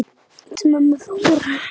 Kysstu mömmu frá mér.